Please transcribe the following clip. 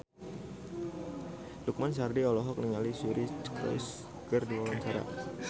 Lukman Sardi olohok ningali Suri Cruise keur diwawancara